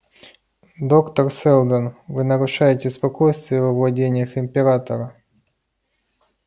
доктор сэлдон вы нарушаете спокойствие во владениях императора